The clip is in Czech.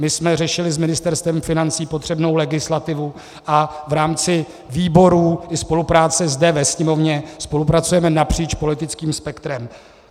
My jsme řešili s Ministerstvem financí potřebnou legislativu a v rámci výborů i spolupráce zde ve Sněmovně spolupracujeme napříč politickým spektrem.